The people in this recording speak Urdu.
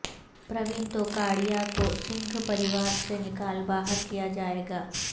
پراوین توگاڑیہ کو سنگھ پریوار سے نکال باہر کیا جائے گا